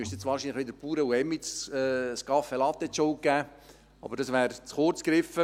Ich müsste jetzt wahrscheinlich wieder den Bauern und Emmi Caffe Latte die Schuld geben, aber das wäre zu kurz gegriffen.